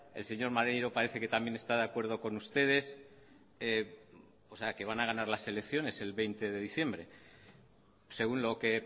el señor maneiro parece que también está de acuerdo con ustedes o sea que van a ganar las elecciones el veinte de diciembre según lo que